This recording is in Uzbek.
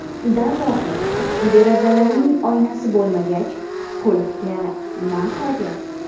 Darvoqe, derazalarning oynasi bo‘lmagach, qulfga na hojat?